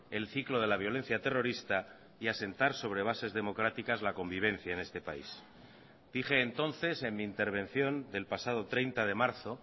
el ciclo de la violencia terrorista y asentar sobre bases democráticas la convivencia en este país dije entonces en mi intervención del pasado treinta de marzo